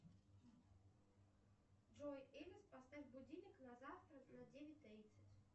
джой элис поставь будильник на завтра на девять тридцать